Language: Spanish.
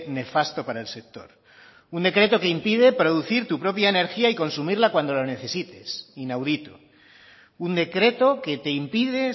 nefasto para el sector un decreto que impide producir tu propia energía y consumirla cuando la necesites inaudito un decreto que te impide